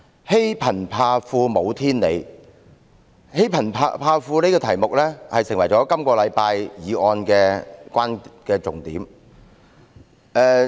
"欺貧怕富無天理"，這個題目成為了本周議案的重點。